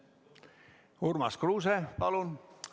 Urmas Kruuse, palun!